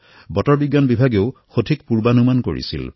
বতৰ বিভাগে সঠিক পুৰ্বানুমান কৰিছে